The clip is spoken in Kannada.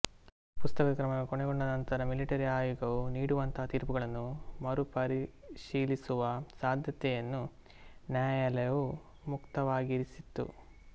ಪ್ರಸಕ್ತದ ಕ್ರಮಗಳು ಕೊನೆಗೊಂಡ ನಂತರ ಮಿಲಿಟರಿ ಆಯೋಗವು ನೀಡುವಂತಹ ತೀರ್ಪುಗಳನ್ನು ಮರುಪರಿಶೀಲಿಸುವ ಸಾಧ್ಯತೆಯನ್ನು ನ್ಯಾಯಾಲಯವು ಮುಕ್ತವಾಗಿರಿಸಿತು